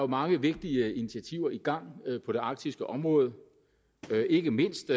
mange vigtige initiativer i gang på det arktiske område ikke mindst